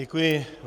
Děkuji.